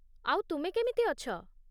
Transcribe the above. ଆଉ, ତୁମେ କେମିତି ଅଛ?